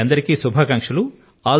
మీ అందరికీ శుభాకాంక్షలు